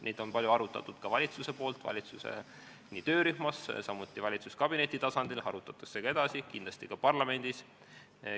Neid on palju arutatud ka valitsuses, nii valitsuse töörühmas kui samuti valitsuskabineti tasandil, neid arutatakse edasi, kindlasti arutatakse ka parlamendis.